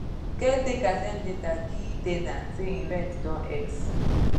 caretaker send letter gie ten ant say him rent don x